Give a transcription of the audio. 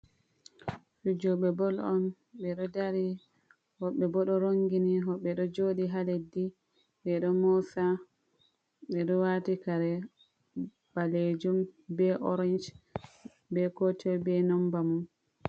Fijoɓe bol on ɓe ɗo dari, woɓɓe bo ɗo rongini woɓɓe ɗo jooɗi ha leddi, ɓe ɗo moosa ɓe ɗo waati kare ɓaleejum be orench, be kotoi be nomba mum.